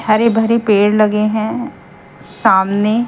हरे भरे पेड़ लगे हैं सामने--